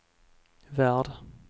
värld